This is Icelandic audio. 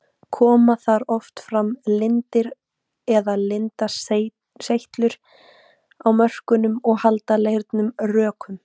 Koma þar oft fram lindir eða lindaseytlur á mörkunum og halda leirnum rökum.